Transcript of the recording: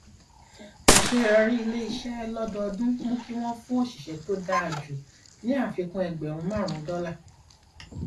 àṣeyọrí ilé iṣẹ lọdọọdún mú kí wọn fún òṣìṣẹ tó dáa jù ní àfikún ẹgbẹrún márùnún dọlà